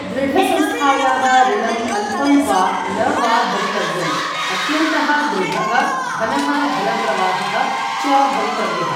दृढसंस्थायाः ऋणम् अल्पं वा न वा भवितव्यम्, अत्यन्तः दृढः, घनः धनप्रवाहः च भवितव्यः।